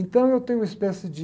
Então eu tenho uma espécie de